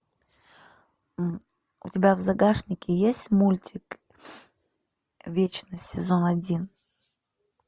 у тебя в загашнике есть мультик вечность сезон один